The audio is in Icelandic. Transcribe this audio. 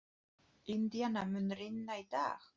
Indíana, mun rigna í dag?